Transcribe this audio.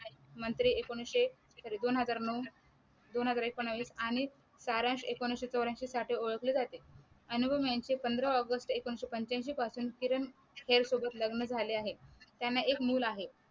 मंत्री एकोणविशे दोन हजार नऊ दोन हजार एकोणवीस आणि तारांश एकोणाविशे चौरांशी साठी ओळखले जाते अनुपम यांचे पंधरा ऑगस्ट एकोणविशे पंचाऐंशी पासून किरण खैर यांच्या सोबत लग्न झाले आहे. त्यांना एक मूल आहे.